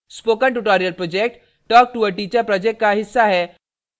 spoken tutorial project talk to a teacher project का हिस्सा है